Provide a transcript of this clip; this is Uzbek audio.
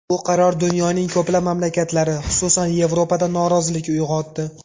Bu qaror dunyoning ko‘plab mamlakatlari, xususan, Yevropada norozilik uyg‘otdi.